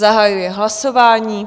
Zahajuji hlasování.